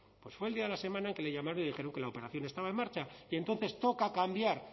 pues fue el día de la semana en que le llamaron y le dijeron que la operación estaba en marcha y entonces toca cambiar